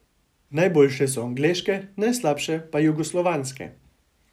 Najboljše so angleške, najslabše pa jugoslovanske.